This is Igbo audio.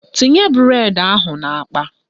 Tinye bụredi ahụ n'akpa!